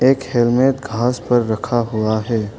एक हेलमेट घास पर रखा हुआ है।